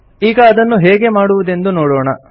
ಈಗ ಅದನ್ನು ಹೇಗೆ ಮಾಡುವುದೆಂಬುದನ್ನು ನೋಡೋಣ